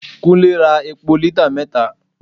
Kunle ra epo lítà mẹta.